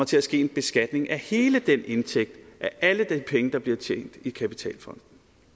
til at ske en beskatning af hele den indtægt af alle de penge der bliver tjent i kapitalfonden